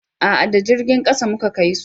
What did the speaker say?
a'a da jirgin ƙasa mu Ka kai su